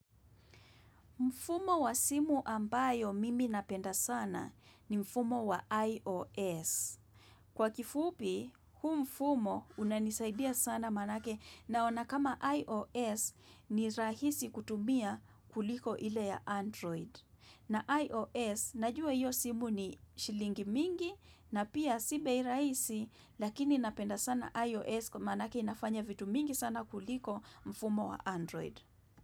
Mfumo wa simu ambao mimi napenda sana ni mfumo wa IOS. Kwa kifupi, huu mfumo unanisaidia sana manake naona kama IOS ni rahisi kutumia kuliko ile ya Android. Na IOS, najua iyo simu ni shilingi mingi na pia sibei iraisi lakini napenda sana IOS kwa manake inafanya vitu mingi sana kuliko mfumo wa Android.